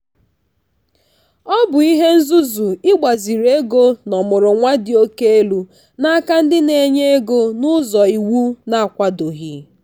ọ bụ ihe nzuzu ịgbaziri ego n'ọmụrụnwa dị oke elu n'aka ndị na-enye ego n'ụzọ iwu na-akwadoghị.